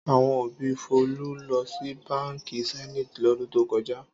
Àwo òbí Folú lọ sí Báńkì Zenith lọ́dún tó kọjá.